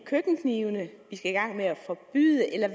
køkkenknive vi skal i gang med at forbyde eller